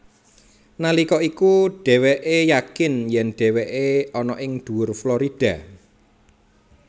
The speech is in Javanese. Nalika iku dhéwékè yakin yèn dhéwékè ana ing dhuwur Florida